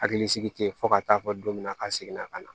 Hakili sigi ten fɔ ka t'a fɔ don min na a ka segin na ka na